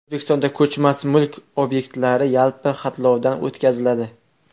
O‘zbekistonda ko‘chmas mulk obyektlari yalpi xatlovdan o‘tkaziladi.